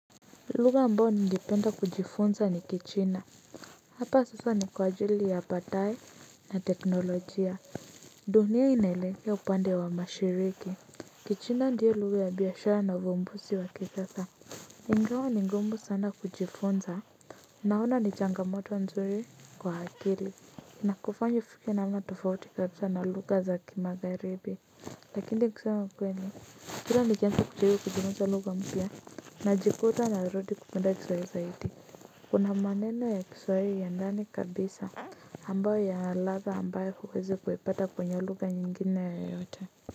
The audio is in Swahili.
Lugha ambayo ningependa kujifunza ni kichina. Hapa sasa ni kwa ajili ya baadaye na teknolojia dunia inaelekea upande wa mashariki Kichina ndio lugha ya biashara na uvumbuzi wa kisasa. Ingawa ni ngumu sana kujifunza, naona ni changamoto nzuri kwa akili. Inakufanya ufike namna tofauti kabisa na lugha za kimagharibi. Lakini kusema ukweli hilo ni vyema kujifunza lugha mpya. Naji kuta narudi kupenda kiswahili zaidi kuna maneno ya kiswahili ya ndani kabisa. Ambayo ya nalada ambayo huwezi kuipata kwenye lugha nyingine yeyote.